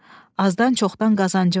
Azdan-çoxdan qazancım var.